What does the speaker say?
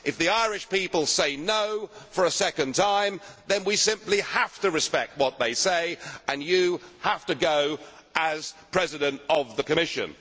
If the Irish people say no' for a second time, then we simply have to respect what they say, and you have to go as President of the Commission.